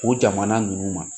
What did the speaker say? O jamana ninnu ma